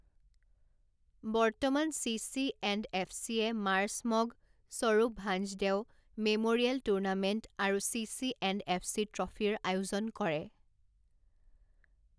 বৰ্তমান চিচিএণ্ডএফচিয়ে মাৰ্চ মগ, স্বৰূপ ভাঞ্জদেও মেম'ৰিয়েল টুৰ্ণামেণ্ট আৰু চিচিএণ্ডএফচি ট্ৰফীৰ আয়োজন কৰে।